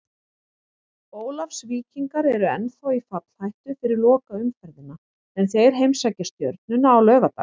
Ólafsvíkingar eru ennþá í fallhættu fyrir lokaumferðina en þeir heimsækja Stjörnuna á laugardag.